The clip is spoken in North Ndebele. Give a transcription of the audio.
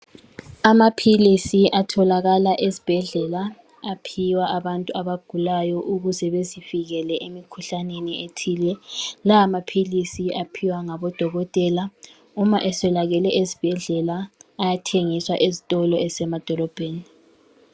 Amaphilisi atholakala ezibhedlela aphiwa abantu abagulayo ukuze bezivikele emikhuhlaneni ethile. Lawa maphilisi aphiwa ngabodokotela. Uma eswelakele ezibhedlela ayathengiswa ezitolo ezisemadolobheni.